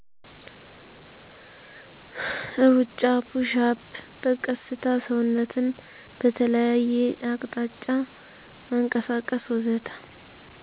እሩጫ፣ ፑሽአፕ፣ በቀስታ ሰውነትን በተለያየ አቅጣጫ ማንቀሳቀስ ወዘተ....